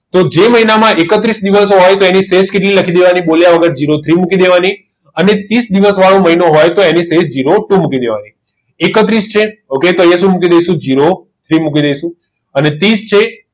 જો એ મહિનામાં એકત્રીસ દિવસ હોય તો શેલ કેટલી લખી દેવાની બોલ્યા વગર zero three થી મૂકી દેવાની અને ત્રીસ દિવસ વારો મહિનો હોય તો એની સેલ zero two મૂકી દેવાની એકત્રીસ છે તો અહીંયા શું મૂકી દઈશું zero three અને ત્રીસ છે